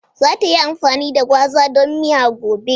Za ta yi amfani da gwaza don miya gobe.